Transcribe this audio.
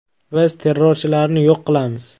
Biz terrorchilarni yo‘q qilamiz.